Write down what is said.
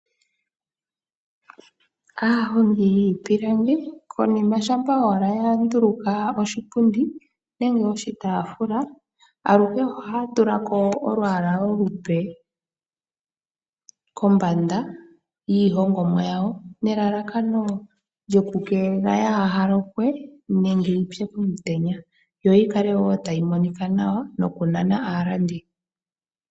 Aahongi yiipilangi konima shampa owala ya nduluka oshipundi nenge oshitaafula ,aluhe ohaya tulako olwaala olupe kombanda yiihongomwa yawo nelalakano lyoku keelela kayi lokwe nenge yipye komutenya yo yikale woo tayi monika nawa noku nana aalandi.